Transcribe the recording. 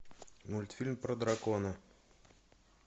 мультфильм про дракона